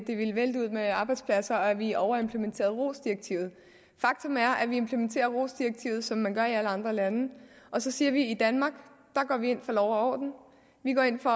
det ville vælte ud med arbejdspladser og at vi overimplementerede rohs direktivet faktum er at vi implementerer rohs direktivet som man gør i alle andre lande og så siger vi at i danmark går vi ind for lov og orden vi går ind for